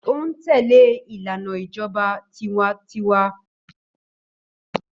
Ó ń tẹlé ìlànà ìjọba tiwańtiwa.